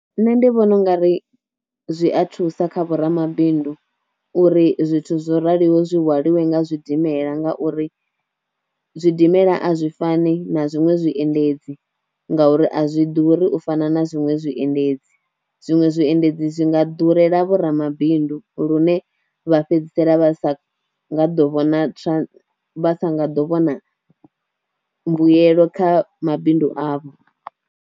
Nṋe ndi vhona u nga ri zwi a thusa kha vho ramabindu uri zwithu zwo raliho zwi hwaliwe nga zwidimela nga uri zwidimela a zwi fani na zwiṅwe zwiendedzi ngauri a zwi ḓuri u fana na zwiṅwe zwiendedzi, zwiṅwe zwiendedzi zwi nga ḓurela vho ramabindu lune vha fhedzisela vha sa vhona nga ḓo vha sa nga ḓo vhona mbuyelo kha mabindu avho.